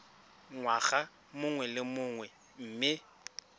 ngwaga mongwe le mongwe mme